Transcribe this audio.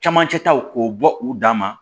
Camancɛ taw k'o bɔ u dan ma